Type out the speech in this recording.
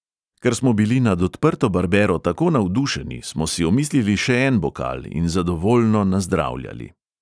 Ker smo bili nad odprto barbero tako navdušeni, smo si omislili še en bokal in zadovoljno nazdravljali.